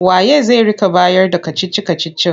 Wa ye zai rika bayarda kacici-kacicin?